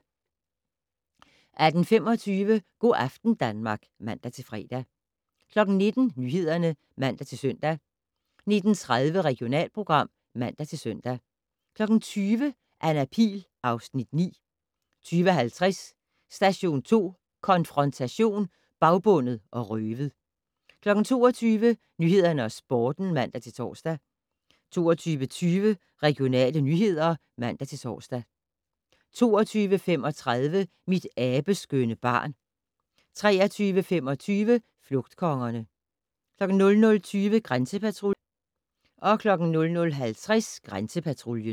18:25: Go' aften Danmark (man-fre) 19:00: Nyhederne (man-søn) 19:30: Regionalprogram (man-søn) 20:00: Anna Pihl (Afs. 9) 20:50: Station 2 Konfrontation: Bagbundet og røvet 22:00: Nyhederne og Sporten (man-tor) 22:20: Regionale nyheder (man-tor) 22:35: Mit abeskønne barn 23:25: Flugtkongerne 00:20: Grænsepatruljen